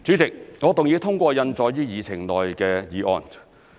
主席，我動議通過印載於議程內的議案。